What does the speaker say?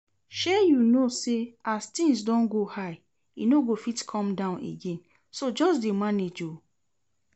Shey you know say as things don go high e no fit come down again, so just dey manage oo